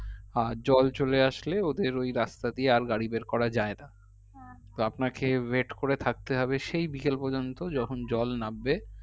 আর জল চলে আসলে ওদের ওই রাস্তা দিয়ে গাড়ি বের করা যাই না তো আপনাকে wait করে থাকতে হবে সেই বিকেল পর্যন্ত যখন জল নাববে